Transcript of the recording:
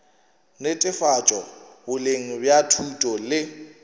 netefatšo boleng bja thuto le